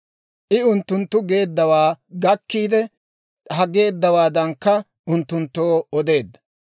I unttunttu geeduwaa gakkiide, ha geeddawaadankka unttunttoo odeedda.